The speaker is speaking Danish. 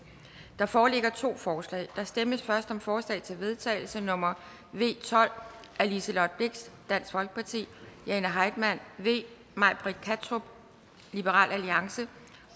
der foreligger to forslag der stemmes først om forslag til vedtagelse nummer v tolv af liselott blixt jane heitmann may britt kattrup